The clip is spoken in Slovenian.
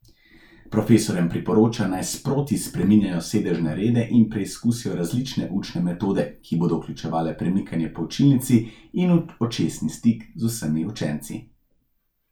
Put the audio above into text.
Profesorjem priporoča, naj sproti spreminjajo sedežne rede in preizkusijo različne učne metode, ki bodo vključevale premikanje po učilnici in očesni stik z vsemi učenci.